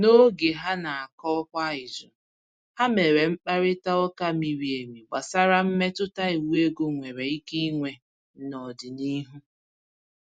N’oge ha na-anọkọ kwa izu, ha mèrè mkparịta ụka miri emi gbasàra mmetụta iwu ego nwere ike inwe n’ọdịnihu.